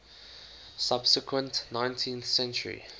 subsequent nineteenth century